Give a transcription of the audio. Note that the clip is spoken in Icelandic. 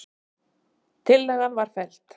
Tillagan var felld.